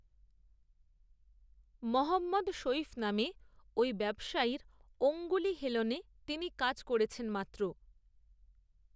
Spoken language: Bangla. মহম্মদ সঈদ নামে, ওই ব্যবসায়ীর অঙ্গুলি হেলনে, তিনি কাজ করেছেন মাত্র